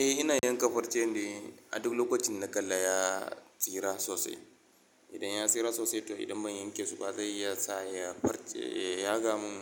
Eh ina yanka farce ne, a duk lokacin dana kala ya tsira sosai. Idan ya tsira sosai to idan ban yanke shi ba zai iya sa ya farce, ya yaga mun